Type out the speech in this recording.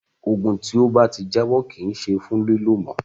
Òògùn tí ó bá ti jábọ́ kì í ṣe fún lílò mọ́.